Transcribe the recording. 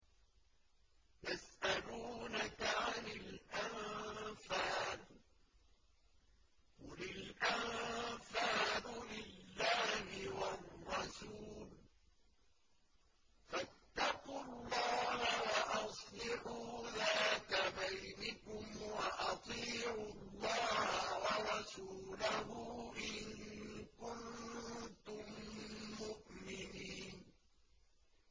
يَسْأَلُونَكَ عَنِ الْأَنفَالِ ۖ قُلِ الْأَنفَالُ لِلَّهِ وَالرَّسُولِ ۖ فَاتَّقُوا اللَّهَ وَأَصْلِحُوا ذَاتَ بَيْنِكُمْ ۖ وَأَطِيعُوا اللَّهَ وَرَسُولَهُ إِن كُنتُم مُّؤْمِنِينَ